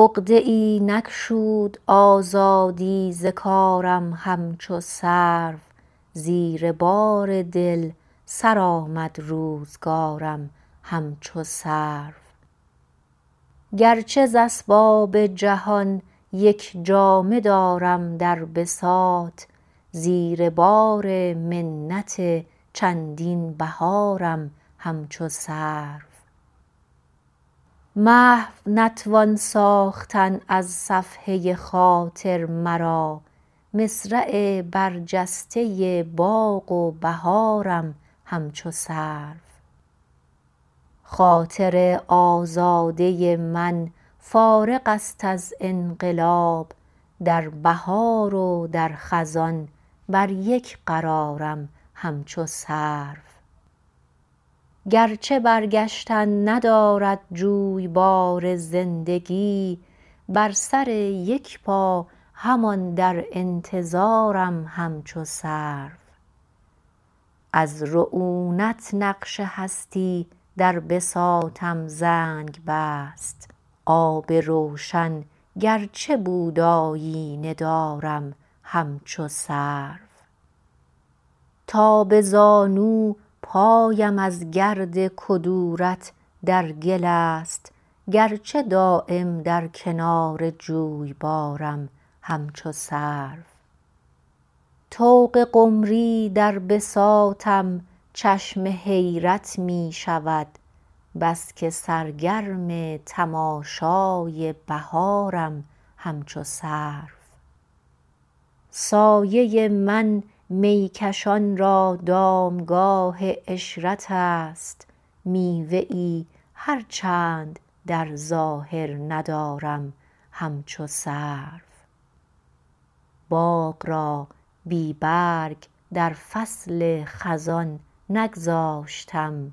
عقده ای نگشود آزادی ز کارم همچو سرو زیر بار دل سرآمد روزگارم همچو سرو گرچه ز اسباب جهان یک جامه دارم در بساط زیر بار منت چندین بهارم همچو سرو محو نتوان ساختن از صفحه خاطر مرا مصرع برجسته باغ و بهارم همچو سرو خاطر آزاده من فارغ است از انقلاب در بهار و در خزان بر یک قرارم همچو سرو گرچه برگشتن ندارد جویبار زندگی بر سر یک پا همان در انتظارم همچو سرو از رعونت نقش هستی در بساطم زنگ بست آب روشن گرچه بود آیینه دارم همچو سرو تا به زانو پایم از گرد کدورت در گل است گرچه دایم در کنار جویبارم همچو سرو طوق قمری در بساطم چشم حیرت می شود بس که سرگرم تماشای بهارم همچو سرو سایه من میکشان را دامگاه عشرت است میوه ای هر چند در ظاهر ندارم همچو سرو باغ را بی برگ در فصل خزان نگذاشتم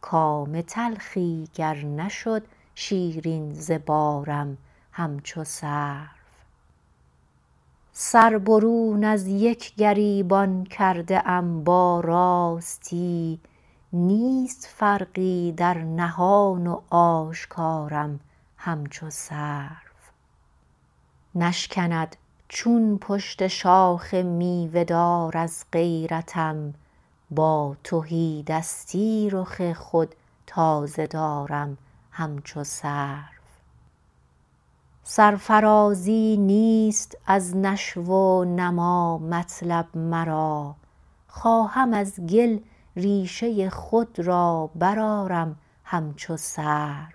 کام تلخی گر نشد شیرین ز بارم همچو سرو سر برون از یک گریبان کرده ام با راستی نیست فرقی در نهان و آشکارم همچو سرو نشکند چون پشت شاخ میوه دار از غیرتم با تهیدستی رخ خود تازه دارم همچو سرو سرفرازی نیست از نشو و نما مطلب مرا خواهم از گل ریشه خود را برآرم همچو سرو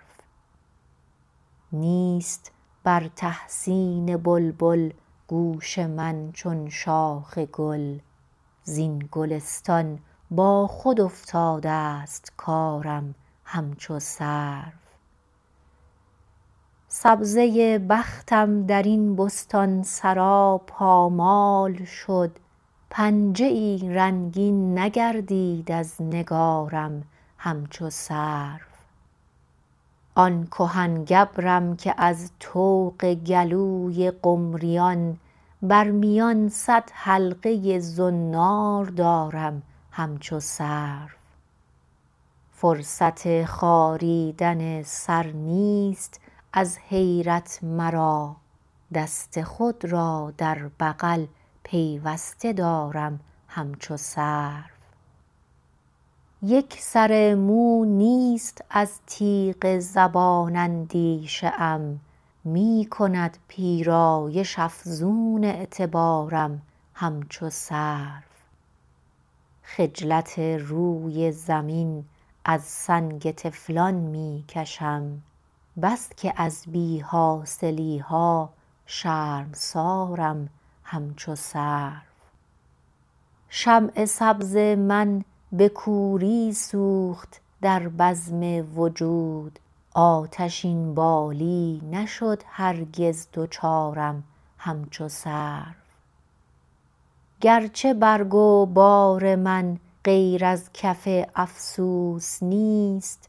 نیست بر تحسین بلبل گوش من چون شاخ گل زین گلستان با خود افتاده است کارم همچو سرو سبزه بختم درین بستانسرا پامال شد پنجه ای رنگین نگردید از نگارم همچو سرو آن کهن گبرم که از طوق گلوی قمریان بر میان صد حلقه زنار دارم همچو سرو فرصت خاریدن سر نیست از حیرت مرا دست خود را در بغل پیوسته دارم همچو سرو یک سر مو نیست از تیغ زبان اندیشه ام می کند پیرایش افزون اعتبارم همچو سرو خجلت روی زمین از سنگ طفلان می کشم بس که از بی حاصلی ها شرمسارم همچو سرو شمع سبز من به کوری سوخت در بزم وجود آتشین بالی نشد هرگز دچارم همچو سرو گرچه برگ و بار من غیر از کف افسوس نیست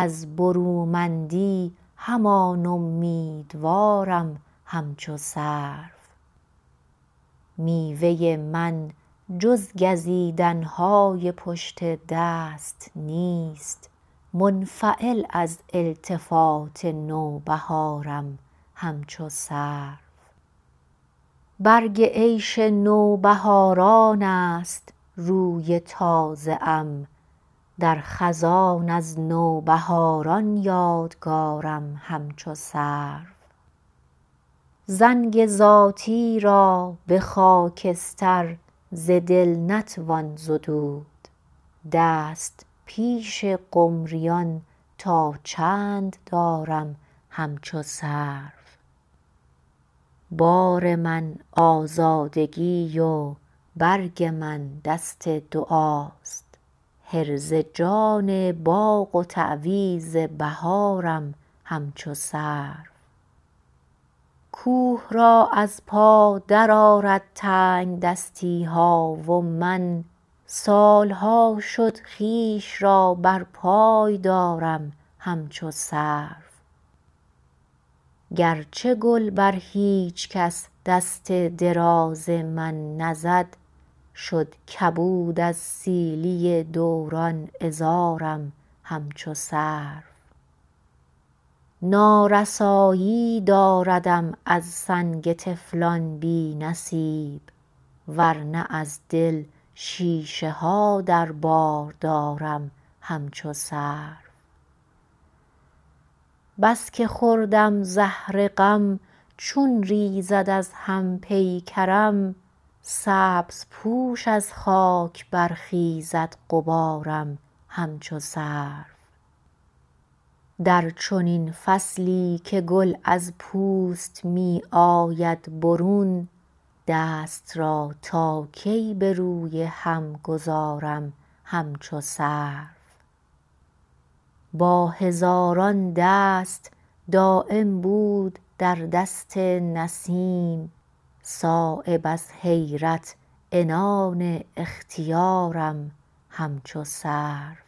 از برومندی همان امیدوارم همچو سرو میوه من جز گزیدن های پشت دست نیست منفعل از التفات نوبهارم همچو سرو برگ عیش نوبهاران است روی تازه ام درخزان از نوبهاران یادگارم همچو سرو زنگ ذاتی را به خاکستر ز دل نتوان زدود دست پیش قمریان تا چند دارم همچو سرو بار من آزادگی و برگ من دست دعاست حرز جان باغ و تعویذ بهارم همچو سرو کوه را از پا درآرد تنگدستی ها و من سالها شد خویش را بر پای دارم همچو سرو گرچه گل بر هیچ کس دست دراز من نزد شد کبود از سیلی دوران عذارم همچو سرو نارسایی داردم از سنگ طفلان بی نصیب ورنه از دل شیشه ها در بار دارم همچو سرو بس که خوردم زهر غم چون ریزد از هم پیکرم سبزپوش از خاک برخیزد غبارم همچو سرو در چنین فصلی که گل از پوست می آید برون دست را تا کی به روی هم گذرم همچو سرو با هزاران دست دایم بود در دست نسیم صایب از حیرت عنان اختیارم همچو سرو